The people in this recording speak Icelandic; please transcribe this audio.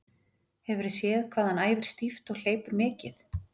Hefurðu séð hvað hann æfir stíft og hleypur mikið?